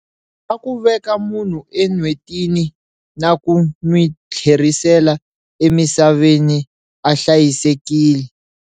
"Ya ku veka munhu e N'wetini naku n'wi tlherisela eMisaveni a hlayisekile".